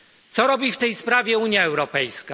Co robi w tej sprawie Unia Europejska?